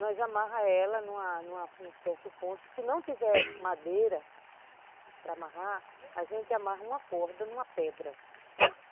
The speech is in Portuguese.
Nós amarra ela num certo ponto, se não tiver madeira para amarrar, a gente amarra uma corda numa pedra.